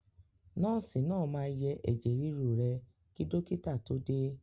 Nọ́ọ̀sì náà máa yẹ ẹ̀jẹ̀ ríru rẹ kí dọ́kìtà tó dé.